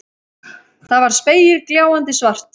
Það var spegilgljáandi svart.